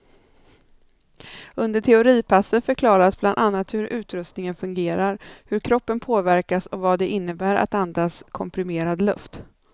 Under teoripassen förklaras bland annat hur utrustningen fungerar, hur kroppen påverkas och vad det innebär att andas komprimerad luft.